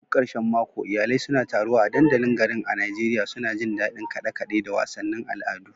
A duk karshen mako, iyalai suna taruwa a dandalin garin a Najeriya, suna jin daɗin kaɗe-kaɗe da wasannin al'adu.